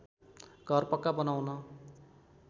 घर पक्का बनाउन